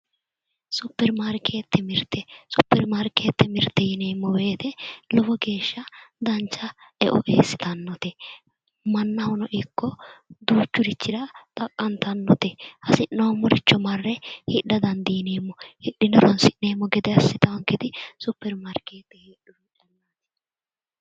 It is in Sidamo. Superimarkeettete mirte superimarkeettete mirte yineemmo woyiite lowo geeshsha dancha e"o eessitannote mannahono ikko duuchurira xaqqantannote hasi'noommoricho marre hidha dandiineemmo hidhine horonsi'neemmo gede assitawoonketi Superimaarkeette heedhurooti